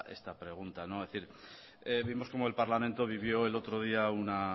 esta pregunta es decir vimos como el parlamento vivió el otro día una